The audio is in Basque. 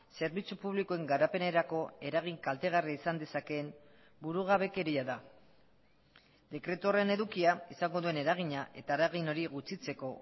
zerbitzu publikoen garapenerako eragin kaltegarria izan dezakeen burugabekeria da dekretu horren edukia izango duen eragina eta eragin hori gutxitzeko